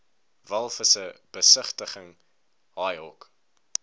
walvisse besigtiging haaihok